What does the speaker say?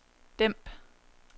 dæmp